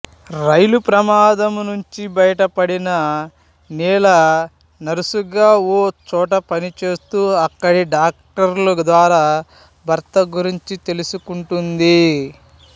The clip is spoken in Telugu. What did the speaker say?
రైలు ప్రమాదం నుంచి బయటపడిన నీల నర్సుగా ఓ చోట పనిచేస్తూ అక్కడి డాక్టరు ద్వారా భర్త గురించి తెలుసుకుంటుంది